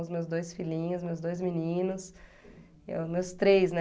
Os meus dois filhinhos, meus dois meninos, eh, os meus três, né?